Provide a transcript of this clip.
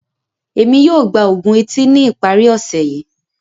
Emi yoo gba oògùn eti ni ipari ọse yii.